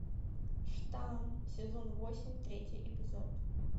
штамм сезон восемь третий эпизод